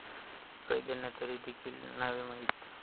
कैद्यांना तरी देखील नावे नाहीत.